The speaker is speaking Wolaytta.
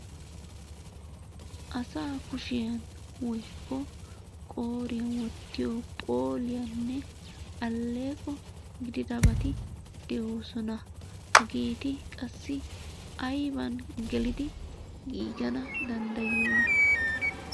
Asaa kushiyan woykko qooriyan wottiyo phooliyanne alleeqo gididabati de'oosona. Hageeti qassi ayiban gelidi giigana danddayiyona?